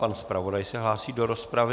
Pan zpravodaj se hlásí do rozpravy.